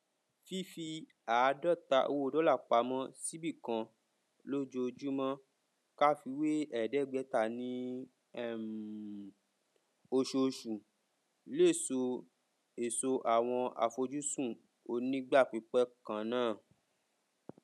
fífi àádọta owó dọlà pamọ síbì kan lójoojúmọ ká fiwé ẹgbẹta ní um oṣooṣù lè so èso àwọn àfojúsùn onígbàpípẹ kannáà